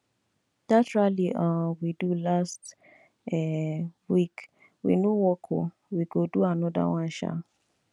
dat rally um we do last um week no work oo we go do another one um